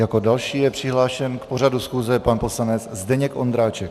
Jako další je přihlášen k pořadu schůze pan poslanec Zdeněk Ondráček.